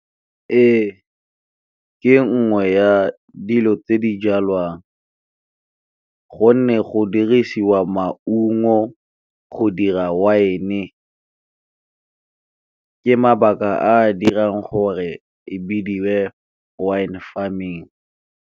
Ee, ke nngwe ya dilo tse di jalwang gonne go dirisiwa maungo go dira wine, ke mabaka a a dirang gore e bidiwe wine farming.